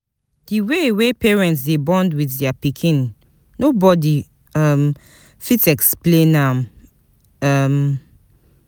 Di way parents dey bond with their pikin no body um fit explain am um